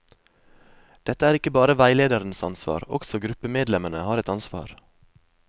Dette er ikke bare veilederens ansvar, også gruppemedlemmene har et ansvar.